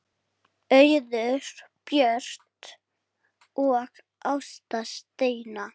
Auður Björt og Ásta Steina.